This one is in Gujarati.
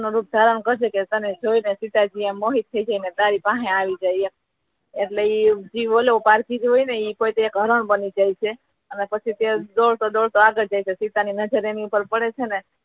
નો રુપ ધારણ કરે છે ને એને જોઈ સીતાજી મોહિત થઈ જઈને તારી પાસે આવી જાય એમ એટલે જે પાર્થિવ હોય ને તે હરણ બની જાય છી અને પછી તે દોડતો દોડતો આગડ જાય છે સીતા ની નજર એની પર પડે છે